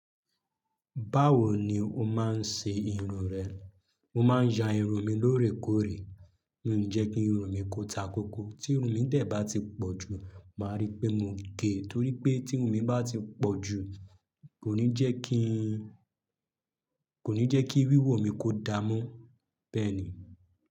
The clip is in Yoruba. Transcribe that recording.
Báwo ni o máa ń ṣe irun rẹ? Mo máa ń ya irun mi lóòrèkóòrè. Ó ń jẹ́ kí irun mi kó ta koko. Tí irun mi dè bá ti pọ̀ jù, màá rí pé mo gé e. Torí pé tí irun mi bá ti pọ̀ jù kò ní jẹ́ kí, kò ní jẹ́ kí wíwò mi kó da mọ́ bẹ́ẹ̀ni.